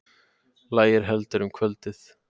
Lægir heldur um kvöldið